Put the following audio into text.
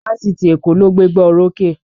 Fáfitì Èkó ló gbé gbá orókè